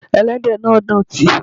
Ẹlẹ́dẹ̀ náà dọ̀tí.